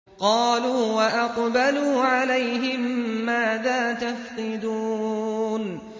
قَالُوا وَأَقْبَلُوا عَلَيْهِم مَّاذَا تَفْقِدُونَ